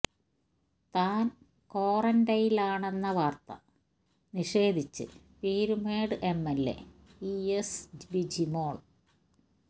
താന് ക്വാറന്റൈനിലാണെന്ന വാര്ത്ത നിഷേധിച്ച് Peermade MLA E S Bijimol